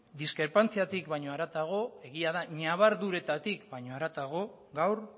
diskrepantziatik baina haratago egia da ñabarduretatik baina haratago gaur